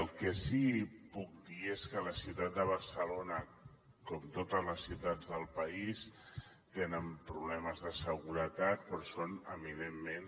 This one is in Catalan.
el que sí que puc dir és que la ciutat de barcelona com totes les ciutats del país té problemes de seguretat però són eminentment